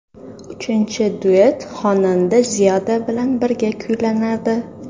Uchinchi duet xonanda Ziyoda bilan birga kuylanadi.